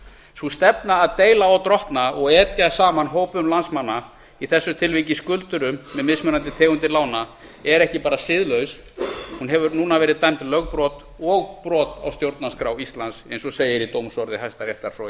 sú stefna að deila og drottna og etja saman hópum landsmanna í þessu tilviki skuldurum með mismunandi tegundir lána er ekki bara siðlaus hún hefur núna verið dæmd lögbrot og brot á stjórnarskrá íslands eins og segir í dómsorði hæstaréttar frá í